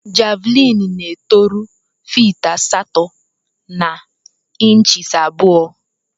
Javlin na eto rue fit asatọ na inchis abụọ.